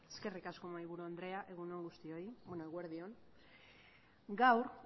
eskerrik asko mahaiburu andrea eguerdi on gaur